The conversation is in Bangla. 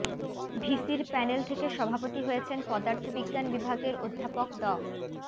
ভিসির প্যানেল থেকে সভাপতি হয়েছেন পদার্থবিজ্ঞান বিভাগের অধ্যাপক ড